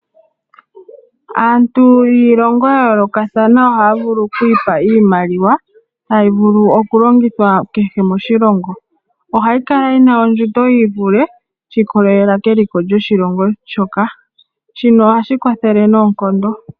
Aantu yiilongo ya yoolokathana ohaa vulu okwiipa iimaliwa, hayi vulu okulongithwa kehe moshilongo ohayi kala yina ondjundo yii vule shiikololela keliko lyoshilongo shoka, shino ohashi kwathele noonkondo.